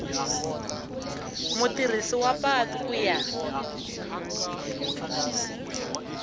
mutirhisi wa patu ku ya